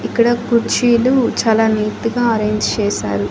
ఇక్కడ కుర్చీలు చాలా నీట్ గా అరేంజ్ చేశారు.